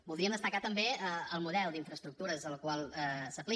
voldríem destacar també el model d’infraestructures que s’aplica